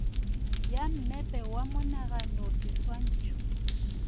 ya mmepe wa monagano seswantšho